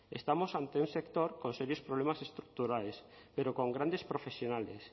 estamos ante un sector con serios problemas estructurales pero con grandes profesionales